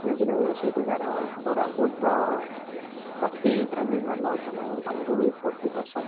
ସେଇଠି ରହିବ ସେଇଠି ତାର କୋରାପୁଟର coffee ଟା ବି ଭଲ ତୋମେ ତମକୁ ବି coffee ପସନ୍ଦ